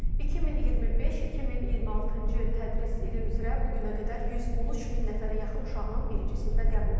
2025-2026-cı tədris ili üzrə bu günə qədər 113 min nəfərə yaxın uşağın birinci sinfə qəbulu tamamlanıb.